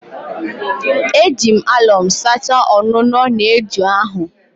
Eji m alọm sachaa ọnụnọ na eju ahụ